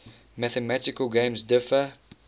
mathematical games differ